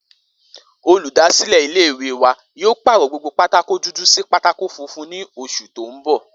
Olùdásílè̩ ilé ìwé wa yóò pàrò̩ gbogbo pátákó dúdú sí pátákó funfun ní os̩ù tó ń bò̩